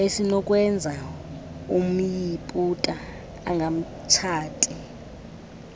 esinokwenza umyiputa angamtshati